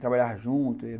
Trabalhava junto.